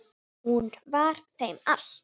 Hún var þeim allt.